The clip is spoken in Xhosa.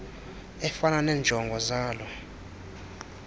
efana neenjongo zalo